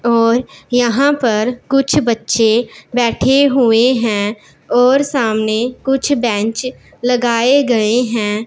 और यहां पर कुछ बच्चे बैठे हुए हैं और सामने कुछ बेंच लगाए गए हैं।